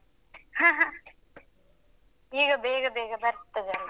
ಹ, ಹ. ಈಗ ಬೇಗ ಬೇಗ ಬರ್ತದಲ್ಲ